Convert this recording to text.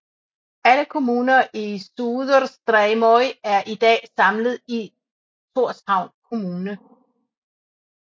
Alle kommuner i Suðurstreymoy er i dag samlet i Thorshavn Kommune